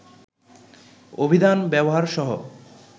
অভিধান ব্যবহার সহ